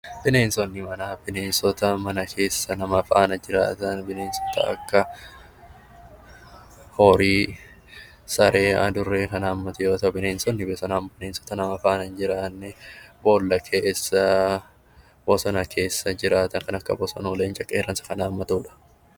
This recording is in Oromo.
Bineensonni manaa bineensota mana keessa nama faana jiraatan kanneen akka: horii, saree, adurree fa'i kan haammatu yoo ta'u, bineensonni alaa immoo bineensota nama faana hin jiraanne bool'a keessa, bosona keessa jiraatan kanneen akka: bosonuu, leenca, qeerransa fa'i kan haammatudha.